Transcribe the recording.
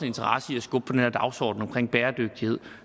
interesse i skubbe på den her dagsorden omkring bæredygtighed